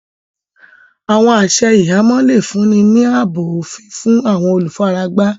Àwọn àṣẹ̀ ìhàmọ̀ le fún ni ní àábò ofín fún àwọn olúfáràgbá.